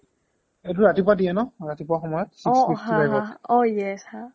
অ এইটো ৰাতিপুৱা দিয়ে ন ৰাতিপুৱা সময়্ত অ হা হা six fifty liveত